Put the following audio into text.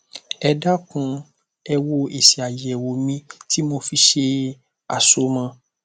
ẹ dákun ẹ wo èsì àyẹwò mi tí mo fi ṣe àsomọ